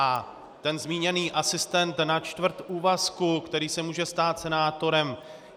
A ten zmíněný asistent na čtvrt úvazku, který se může stát senátorem.